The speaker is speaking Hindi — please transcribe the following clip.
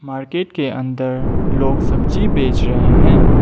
मार्केट के अंदर लोग सब्जी बेच रहे हैं।